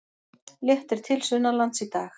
Léttir til sunnanlands í dag